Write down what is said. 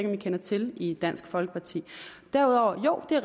man kender til i dansk folkeparti derudover jo det